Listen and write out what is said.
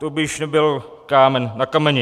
To by již nebyl kámen na kameni.